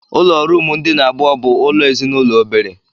Ụlọ ruumu ndina abụọ bụ ụlọ ezinụlọ obere.